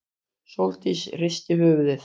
Sóldís hristi höfuðið.